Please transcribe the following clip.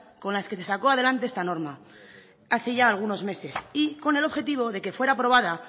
con las que se sacó adelante esta norma hace ya algunos meses y con el objetivo de que fuera aprobada